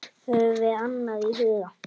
Höfum annað í huga.